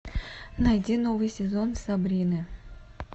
найди новый сезон сабрины